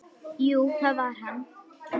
Jú, það var hann!